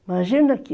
Imagina que...